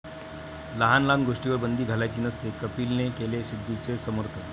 लहान लहान गोष्टींवर बंदी घालायची नसते, कपिलने केलं सिद्धूंचं समर्थन